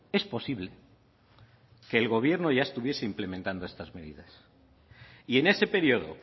es posible que el gobierno ya estuviese implementando estas medidas y en ese periodo